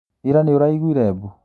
Ira nĩũraiguire mbu?